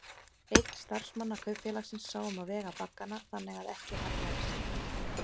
Einn starfsmanna kaupfélagsins sá um að vega baggana þannig að ekki hallaðist.